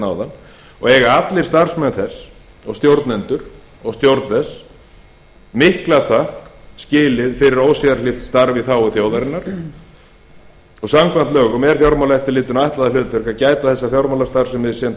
áðan og eiga allir starfsmenn þess og stjórnendur og stjórn þess mikla þökk skilið fyrir ósérhlífið starf í þágu þjóðarinnar samkvæmt lögum er fjármálaeftirlitinu ætlað það hlutverk að gæta þess að fjármálastarfsemi sú sem